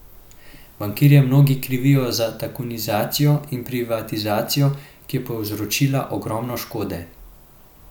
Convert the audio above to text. Bankirje mnogi krivijo za tajkunizacijo in privatizacijo, ki je povzročila ogromno škode.